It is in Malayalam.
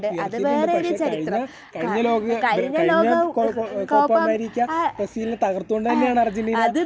ഉയർത്തിയിട്ടുണ്ട്. പക്ഷെ കഴിഞ്ഞ ലോകക ... കോപ്പ അമേരിക്ക ബ്രസീലിനെ തകർത്തു കൊണ്ട് തന്നെയാണ് അർജെൻറ്റീനാ..